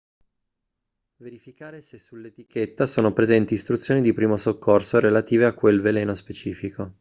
verificare se sull'etichetta sono presenti istruzioni di primo soccorso relative a quel veleno specifico